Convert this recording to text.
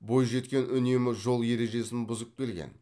бойжеткен үнемі жол ережесін бұзып келген